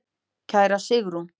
Kæra Sigrún.